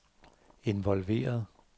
involveret